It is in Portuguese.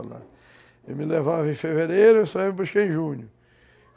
Ele me levava em fevereiro e só ia me buscar em junho.